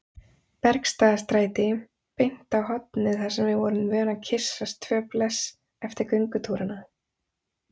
Bergstaðastræti, beint á hornið þar sem við vorum vön að kyssast tvö bless eftir göngutúrana.